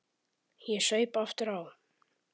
Ég saup aftur á.